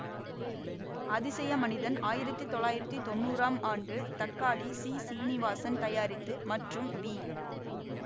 அதிசய மனிதன் ஆயிரத்தி தொள்ளாயிரத்தி தொன்னூறாம் ஆண்டு தக்காளி சி சீனிவாசன் தயாரித்து மற்றும் வி